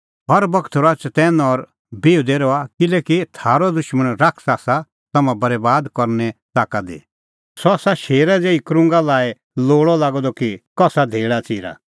हर बगत रहा चतैन और बिहुदै रहा किल्हैकि थारअ दुशमण शैतान आसा तम्हां बरैबाद करने ताका दी सह आसा शेरा ज़ेही क्रुंगा लाई लोल़अ लागअ द कि कसा धेल़ाच़िरा